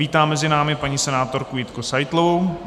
Vítám mezi námi paní senátorku Jitku Seitlovou.